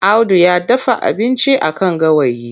Audu ya dafa abinci a kan gawayi.